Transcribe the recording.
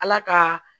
Ala ka